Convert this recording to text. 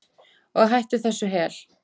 Og hætt þessu hel